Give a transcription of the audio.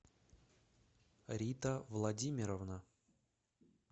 рита владимировна